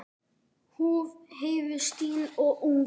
Húð Heiðu stinn og ung.